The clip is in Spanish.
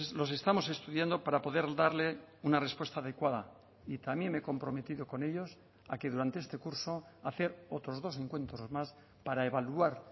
los estamos estudiando para poder darle una respuesta adecuada y también me he comprometido con ellos a que durante este curso hacer otros dos encuentros más para evaluar